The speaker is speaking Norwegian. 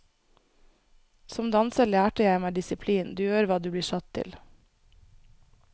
Som danser lærte jeg meg disiplin, du gjør hva du blir satt til.